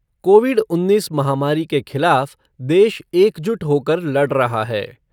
Covid उन्नीस महामारी के खिलाफ देश एकजुट होकर लड़ रहा है।